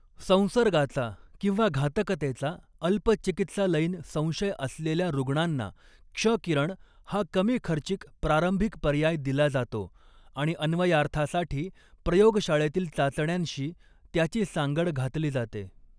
संसर्गाचा किंवा घातकतेचा अल्प चिकित्सालयीन संशय असलेल्या रुग्णांना क्ष किरण हा कमी खर्चिक प्रारंभिक पर्याय दिला जातो आणि अन्वयार्थासाठी प्रयोगशाळेतील चाचण्यांशी त्याची सांगड घातली जाते.